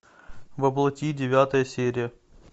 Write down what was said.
во плоти девятая серия